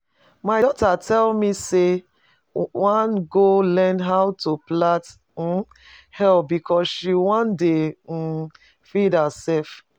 My daughter tell me say she wan go learn how to plait um hair because she wan dey um feed herself